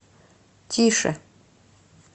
тише